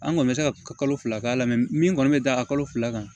An kɔni bɛ se ka kalo fila k'a la min kɔni bɛ da a kalo fila kan